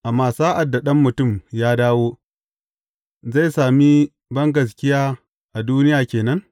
Amma sa’ad da Ɗan Mutum ya dawo, zai sami bangaskiya a duniya ke nan?